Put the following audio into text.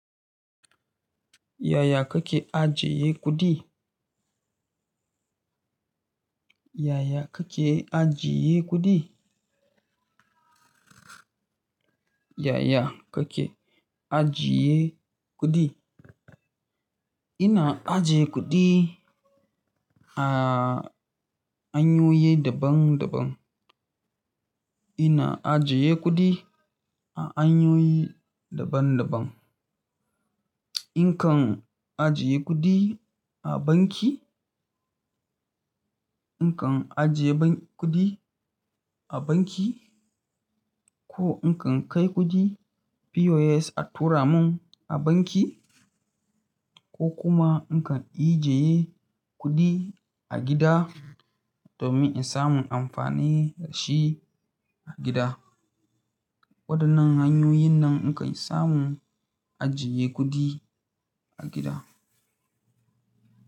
Yaya kake ajiye kuɗi? Yaya kake ajiye kuɗi? Yaya kake ajiye kuɗi? Ina ajiye kuɗi a hanyoyi daban-daban. Ina ajiye kuɗi a hanyoyi daban-daban. In kan ajiye kuɗi a banki, in kan ajiye bank kuɗi a banki ko in kan kai kuɗi POS a tura mun a banki ko kuma in ka ijiye kuɗi a gida domin in samu amfani da shi a gida. Waɗannan hanyoyin nan in kan samu ajiye kuɗi a gida.